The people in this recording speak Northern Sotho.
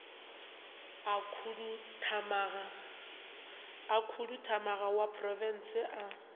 a khuduthamaga ya profense a